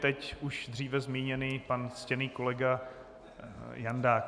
Teď už dříve zmíněný pana ctěný kolega Jandák.